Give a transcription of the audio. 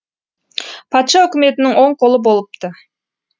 патша үкіметінің оң қолы болыпты